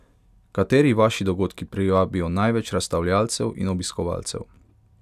Kateri vaši dogodki privabijo največ razstavljalcev in obiskovalcev?